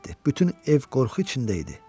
Bütün ev qorxu içində idi.